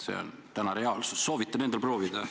See on täna reaalsus, soovitan järele proovida.